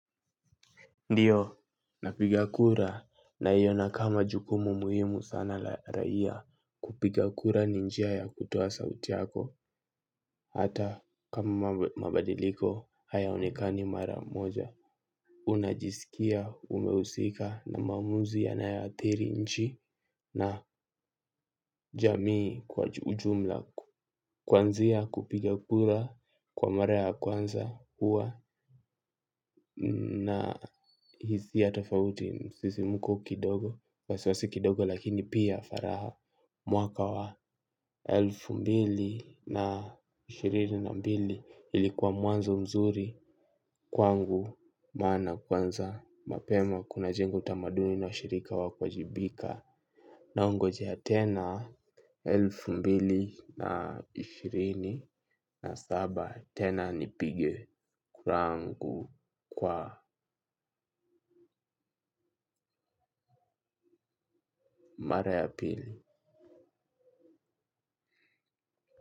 Ndiyo napiga kura naiona kama jukumu muhimu sana la raia kupiga kura ni njia ya kutoa sauti yako hata kama mabadiliko hayaonekani mara moja unajisikia umehusika na maamuzi ya yanayoathiri nchi na jamii kwa ujumla kwanzia kupiga kura kwa mara ya kwanza huwa na hisia tofauti msisimuko kidogo. Wasiwasi kidogo lakini pia faraha. Mwaka wa elfu mbili na ishirini na mbili. Ilikuwa mwanzo mzuri. Kwangu maana kwanza mapema kunajenga tamaduni na ushirika wa kuwajibika. Naongojea tena elfu mbili na ishirini na saba. Tena nipige kura yangu kwa mara ya pili.